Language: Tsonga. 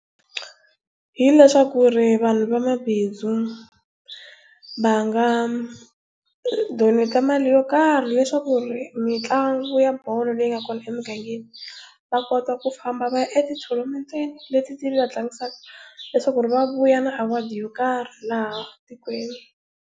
Hileswaku vanhu va mabindzu va nga donate mali yo karhi leswaku mitlangu ya bolo leyi nga kona emigangeni va kota ku famba va ya eti-thonamenteni leti ti va tlangisaka leswaku va vuya na award yo karhi laha tikweni.